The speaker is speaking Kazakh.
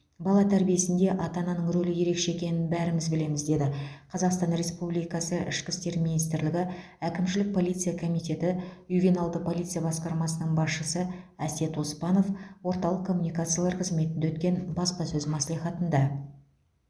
бала тәрбиесінде ата ананың рөлі ерекше екенін бәріміз білеміз деді қазақстан республикасы ішкі істер министрлігі әкімшілік полиция комитеті ювеналды полиция басқармасының басшысы әсет оспанов орталық коммуникациялар қызметінде өткен баспасөз мәслихатында